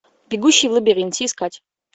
бегущий в лабиринте искать